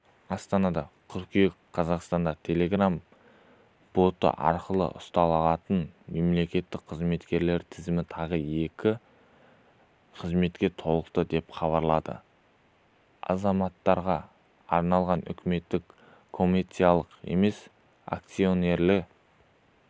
астана қыркүйек қазақстанда телеграмм-боты арқылы ұсынылатын мемлекеттік қызметтердің тізімі тағы екі қызметке толықты деп хабарлады азаматтарға арналған үкімет коомерциялық емес акционерлі